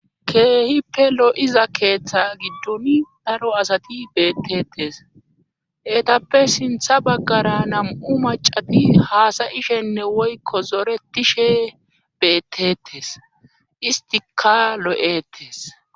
keehippe lo7iza keeththa giddun daro asati beettetes eetappe sintha baggara nam7u macati haasayishenne woykko zoretishe beettetes istika lo7etes